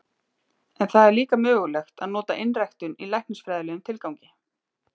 En það er líka mögulegt að nota einræktun í læknisfræðilegum tilgangi.